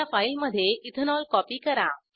नव्या फाईलमधे ethanol copy करा